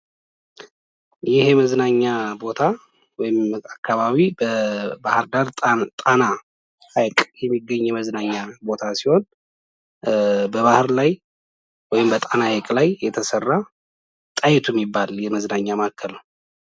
ይህ የመዝናኛ ቦታ ወምአካባቢ ባህር ዳር ጣና ሐይቅ የሚገኝ የመዝናኛ ቦታ ሲሆን በባህር ላይወበጣና ኃይቅ ላይ የተሠራ ጣይቱ የሚይባል የመዝናኛ ማከሉ